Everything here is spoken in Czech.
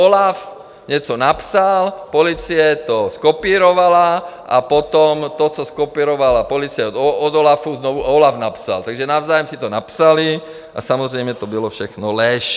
OLAF něco napsal, policie to zkopírovala a potom to, co zkopírovala policie od OLAFu, znova OLAF napsal, takže navzájem si to napsali a samozřejmě to byla všechno lež.